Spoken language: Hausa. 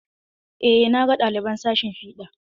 Eh, na ga ɗaliban sashin fiɗa.